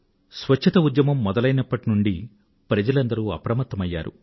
శుభ్రత ఉద్యమం మొదలైనప్పటి నుండీ ప్రజలందరూ అప్రమత్తమయ్యారు